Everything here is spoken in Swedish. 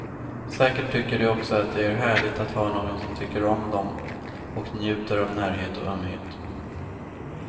Säkert tycker de också att det är härligt att ha någon som tycker om dem och njuter av närhet och ömhet.